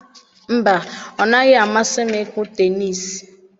Mba, o naghị amasị m ịkụ tenisii